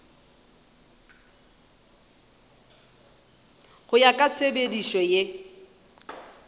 go ya ka tshepedišo ye